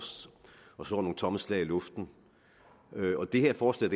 og slår nogle tomme slag i luften og det her forslag